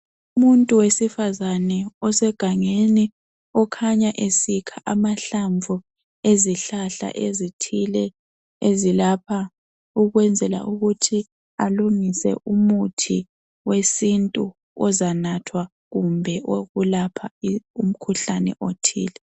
Umuntu wesifazane osegangeni okhanya esikha amahlamvu ezihlahla ezithile ezilapha ukwenzela ukuthi alungise umuthi wesintu ozanathwa kumbe owokulapha umkhuhlane othile.